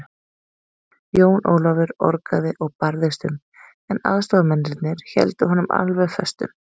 Jón Ólafur orgaði og barðist um, en aðstoðarmennirnir héldu honum alveg föstum.